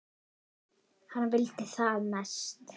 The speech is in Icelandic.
Hann vildi það mest.